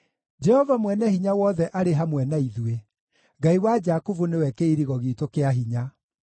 Jehova Mwene-Hinya-Wothe arĩ hamwe na ithuĩ; Ngai wa Jakubu nĩwe kĩirigo giitũ kĩa hinya.